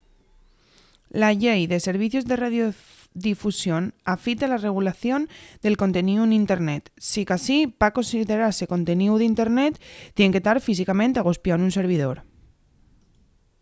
la llei de servicios de radiodifusión afita la regulación del conteníu n’internet sicasí pa considerase conteníu d’internet tien que tar físicamente agospiáu nun servidor